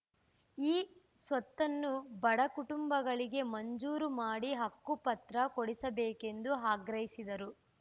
ಈ ಸ್ವತ್ತನ್ನು ಬಡ ಕುಟುಂಬಗಳಿಗೆ ಮಂಜೂರು ಮಾಡಿ ಹಕ್ಕುಪತ್ರ ಕೊಡಿಸಬೇಕೆಂದು ಆಗ್ರಹಿಸಿದರು